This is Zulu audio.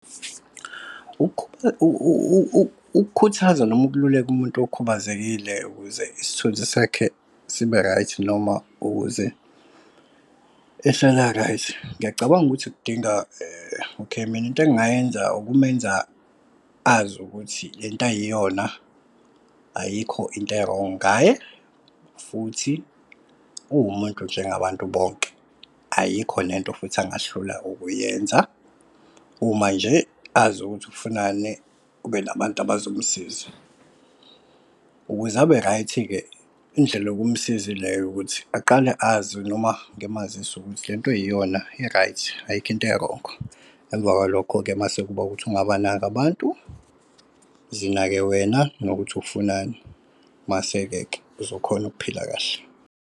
Ukukhuthaza noma ukhululeka umuntu okhubazekile ukuze isithunzi sakhe sibe-right noma ukuze ehlala a-right. Ngiyacabanga ukuthi kudinga okay, mina into engingayenza ukumenza azi ukuthi lento ayiyona, ayikho into e-wrong ngaye futhi uwumuntu njengabantu bonke. Ayikho lento futhi angahlula ukuyenza. Uma nje azi ukuthi ufunani kube nabantu abazomsiza. Ukuze abe-right-ke indlela yokumsiza ileyo ukuthi aqale azi noma ngimazise ukuthi lento oyiyona i-right ayikho into e-wrong. Emva kwalokho-ke mase kuba ukuthi ungabanaki abantu zinake wena nokuthi ufunani mase-ke ke uzokhona ukuphila kahle.